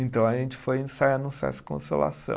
Então a gente foi ensaiar no Sesc Consolação.